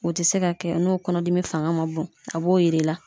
O te se ka kɛ n'o kɔnɔdimi fanga ma bon a b'o yir'i la